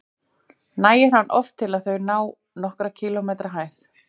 Nægir hann oft til að þau ná nokkurra kílómetra hæð.